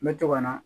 N bɛ to ka na